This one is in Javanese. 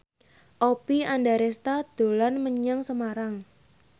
Oppie Andaresta dolan menyang Semarang